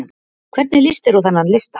Hvernig lýst þér á þennan lista?